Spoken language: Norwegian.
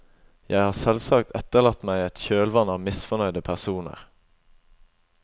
Jeg har selvsagt etterlatt meg et kjølvann av misfornøyde personer.